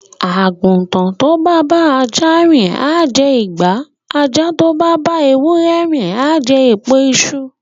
Àgùntàn tó bá bá ajá rìn á jẹ ìgbà, ajá tó bá bá ewúrẹ rìn á jẹ èpo iṣu.